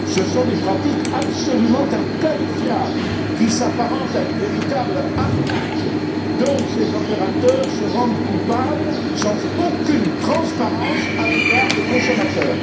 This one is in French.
Ce sont des pratiques absolument inqualifiables, qui s'apparentent à une véritable arnaque dont ces opérateurs se rendent coupables, sans aucune transparence à l'égard des consommateurs.